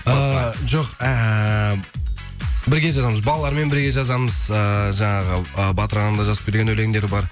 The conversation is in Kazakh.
эээ жоқ әәә бірге жазамыз балалармен бірге жазамыз эээ жаңағы э батыр ағаның жазып берген өлеңдері бар